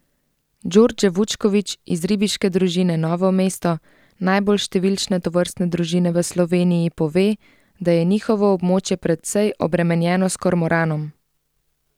Djordje Vučković iz Ribiške družine Novo mesto, najbolj številčne tovrstne družine v Sloveniji, pove, da je njihovo območje precej obremenjeno s kormoranom.